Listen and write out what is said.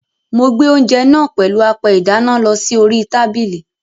Mo gbé oúnjẹ náà pèlú apẹ ìdáná lọ sí orí tábìlì.